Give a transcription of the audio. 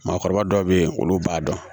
Maakɔrɔba dɔw be yen olu b'a dɔn